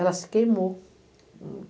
Ela se queimou.